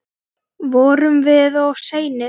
Vorum við of seinir?